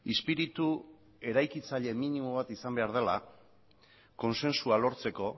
espiritu eraikitzaile minimo bat izan behar dela kontsentsua lortzeko